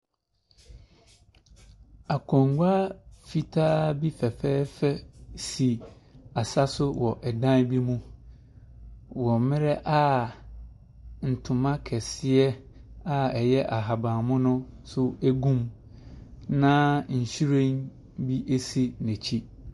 Akonnwa fitaa bi fɛfɛɛfɛ si asa so wɔ dan bi mu wɔ mmerɛ a ntoma kɛseɛ a ɛyɛ ahaban mono nso gu mu, na nhwiren bi si n'akyi.